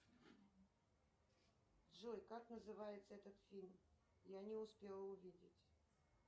джой как называется этот фильм я не успела увидеть